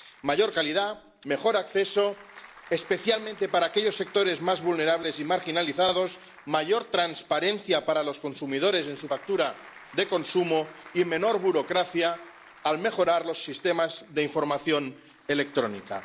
Mayor calidad, mejor acceso —especialmente para aquellos sectores más vulnerables y marginalizados—, mayor transparencia para los consumidores en su factura de consumo y menor burocracia al mejorar los sistemas de información electrónica.